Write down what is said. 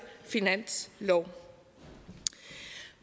finanslov